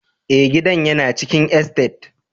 Ee, gidan yana cikin estate.